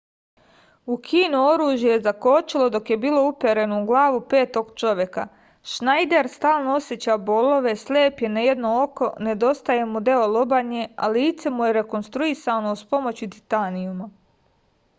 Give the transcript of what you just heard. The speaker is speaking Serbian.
ukino oružje je zakočilo dok je bilo upereno u glavu petog čoveka šnajder stalno oseća bolove slep je na jedno oko nedostaje mu deo lobanje a lice mu je rekonstruisano uz pomoć titanijuma